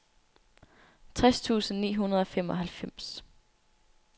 tres tusind ni hundrede og femoghalvfems